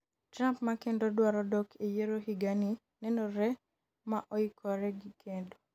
Trump ma kendo dwaro dok e yiero higa ni nenore ma oikore gi kedo